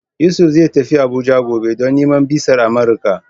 Yusuf zai tafi Abuja gobe, don nemo bizar Amuruka.